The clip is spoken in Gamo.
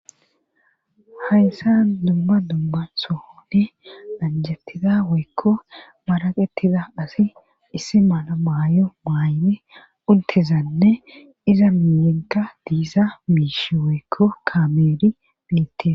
hayssa dumma dumma soothe anjettida woykko maraqetida asi issi mala maay7o maayne untezanne iza miyenka bisa miishi woykko kameeri bittes.